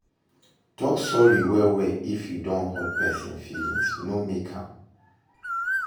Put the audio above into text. Talk sorry well well if you don hurt person feelings, no fake am